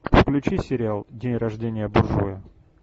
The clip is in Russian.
включи сериал день рождения буржуя